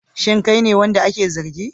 Shin kai ne wanda ake zargi?